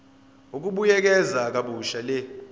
ukubuyekeza kabusha le